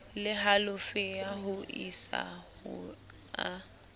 le halofo ho isaho a